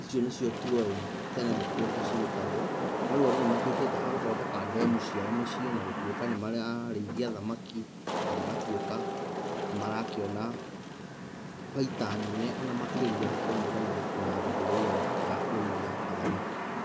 icio nĩcio tũowĩ tene nĩkuo cirutagwo, no rĩu andũ nĩ matuĩkĩte agũthondeka ndemu ciao miciĩ na gũtuĩka nĩmararĩithia thamaki na magatuĩka nĩmarakĩona baita nene o na makĩria kũringana na thũgũrĩ ĩyo ya ũrĩithia wa thamaki.